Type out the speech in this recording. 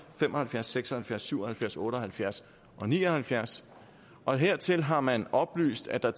fem og halvfjerds seks og halvfjerds syv og halvfjerds otte og halvfjerds og ni og halvfjerds og hertil har man oplyst at der